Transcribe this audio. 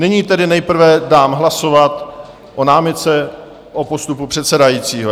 Nyní tedy nejprve dám hlasovat o námitce o postupu předsedajícího.